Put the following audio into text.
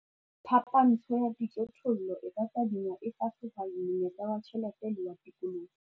Phapantsho ya dijothollo e ka tadingwa e fa sehwai monyetla wa tjhelete le wa tikoloho.